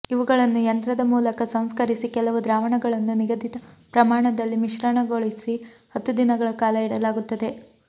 ಇವುಗಳನ್ನು ಯಂತ್ರದ ಮೂಲಕ ಸಂಸ್ಕರಿಸಿ ಕೆಲವು ದ್ರಾವಣಗಳನ್ನು ನಿಗದಿತ ಪ್ರಮಾಣದಲ್ಲಿ ಮಿಶ್ರಗೊಳಿಸಿ ಹತ್ತು ದಿನಗಳ ಕಾಲ ಇಡಲಾಗುತ್ತದೆ